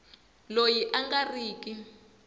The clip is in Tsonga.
loyi a nga ri ki